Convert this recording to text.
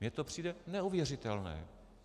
Mně to přijde neuvěřitelné.